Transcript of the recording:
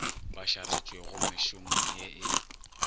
ba šaretšwego mešomong ye e